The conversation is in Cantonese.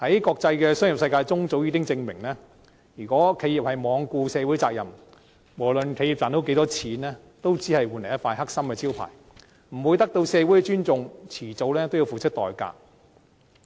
國際商業世界早已證明，如果企業罔顧社會責任，無論賺到多少錢，都只會換來一塊"黑心招牌"，不會得到社會的尊重，遲早要付出代價。